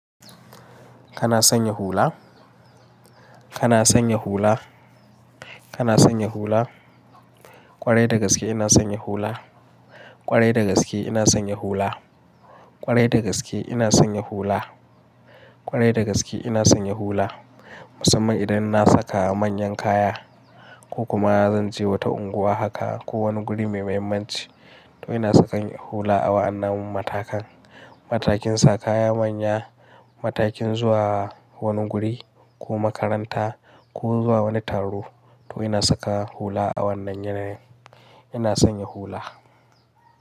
Kana sanya hula? Kana sanya hula? Kana sanya hula? Kwarai da gaske ina sanya hula. Kwarai da gaske ina sanya hula. Kwarai da gaske ina sanya hula. Kwarai da gaske ina sanya hula. Musamman idan na saka manyan kaya ko kuma zan je wata unguwa haka ko wani guri mai muhimmanci, to ina saka hula a wa'annan matakan. Matakin saka kaya manya, matakin zuwa wani guri ko makaranta ko zuwa wani taro, to ina saka hula a wannan yanayi. Ina sanya hula.